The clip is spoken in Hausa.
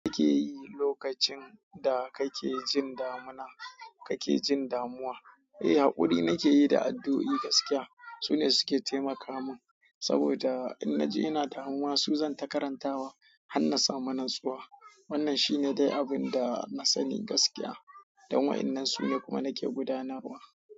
Me kike yi lokacin da kake jin damuna, kake jin damuwa? Eh, haƙuri nake yi da addu'o'i gaskiya. Su ne suke taimaka mun, saboda in na ji ina damuwa su zanta karantawa har na samu natsuwa. Wannan shi ne dai abin da na sani gaskiya, don wa'innen su ne kuma nake gudanarwa.